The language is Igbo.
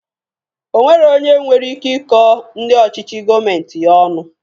Onwero onye nwere ike ikọ ndị ọchịchị gọọmenti ya ọnu.